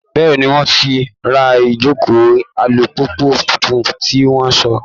Bẹ́ẹ́ni, wọ́n ti ra ìjókòó alùpùpù tuntun tí wọ́n sọ